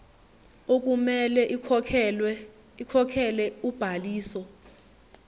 okumele ikhokhele ubhaliso